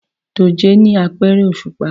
Dòjé ni apẹrẹ oṣupa